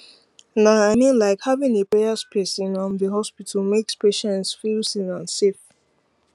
na i mean like having a prayer space in um the hospital makes patients feel seen and safe